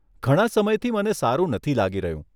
ઘણા સમયથી મને સારું નથી લાગી રહ્યું.